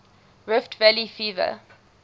rift valley fever